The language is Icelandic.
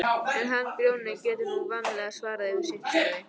En hann Grjóni getur nú vanalega svarað fyrir sitt, sagði